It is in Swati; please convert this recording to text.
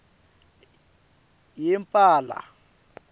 yempala